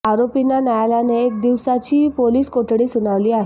आरोपींना न्यायालयाने एक दिवसाची पोलिस कोठडी सुनावली आहे